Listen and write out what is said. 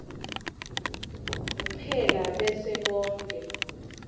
kuphela bese konkhe